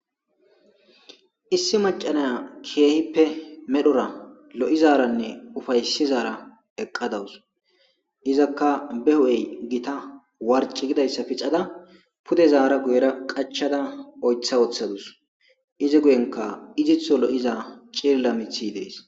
Issi macca naya keehippe medhora lo'izaranne ufaysizaara eqqadawus. Izakka be ho'era gita warci gidayssa pixada pude zaara guyera qachada oytha woththadus. Izi guyenka izitho lo'iza ciilla mithi dees.